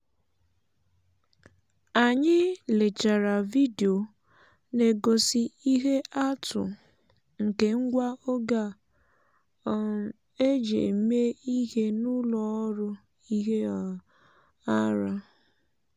anyị lechara vidio na-egosi ihe atụ nke ngwa oge a um eji eme ihe n’ụlọ ọrụ ihe um ara. um